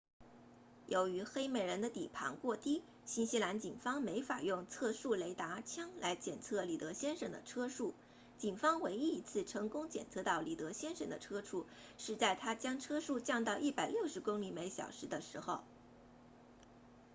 由于黑美人的底盘过低新西兰警方没法用测速雷达枪来检测里德先生的车速警方唯一一次成功检测到里德先生的车速是在他将车速降到160公里小时的时候